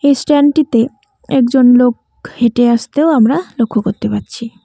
ইস্ট্যান্ডটিতে একজন লোক হেঁটে আসতেও আমরা লক্ষ্য করতে পারছি।